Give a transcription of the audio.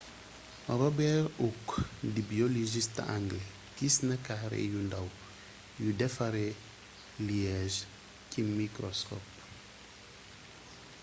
robert hooke di biologiste anglé gisna carré yu ndaw yu defaree liege ci microscope